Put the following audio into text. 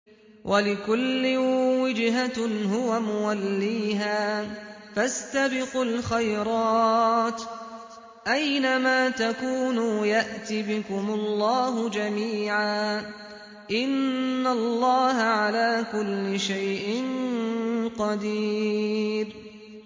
وَلِكُلٍّ وِجْهَةٌ هُوَ مُوَلِّيهَا ۖ فَاسْتَبِقُوا الْخَيْرَاتِ ۚ أَيْنَ مَا تَكُونُوا يَأْتِ بِكُمُ اللَّهُ جَمِيعًا ۚ إِنَّ اللَّهَ عَلَىٰ كُلِّ شَيْءٍ قَدِيرٌ